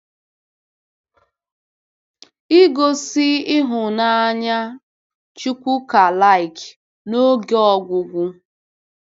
Igosi Ịhụnanya Chukwukalike n'oge ọgwụgwụ